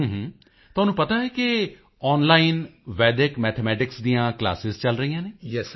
ਹੂੰ ਹੂੰ ਤੁਹਾਨੂੰ ਪਤਾ ਹੈ ਇਕ ਆਨਲਾਈਨ ਵੈਡਿਕ ਮੈਥਮੈਟਿਕਸ ਦੀਆਂ ਕਲਾਸਾਂ ਚਲ ਰਹੀਆਂ ਹਨ